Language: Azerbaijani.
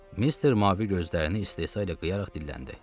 Mister mavi gözlərini istehzayla qıyaraq dilləndi.